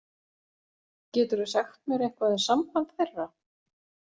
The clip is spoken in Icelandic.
Geturðu sagt mér eitthvað um samband þeirra?